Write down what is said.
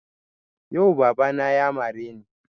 Yau baba na ya mare ni